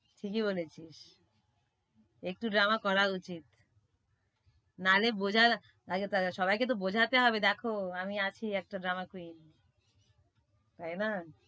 ঠিকই বলেছিস। একটু drama করা উচিত, নাইলে বোঝে না তাকে~সবাইকে তো বোঝাতে হবে দেখো আমি আছি একটা drama queen তাইনা।